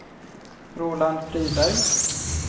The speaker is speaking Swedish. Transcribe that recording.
Roland Friberg